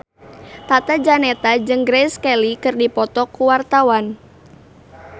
Tata Janeta jeung Grace Kelly keur dipoto ku wartawan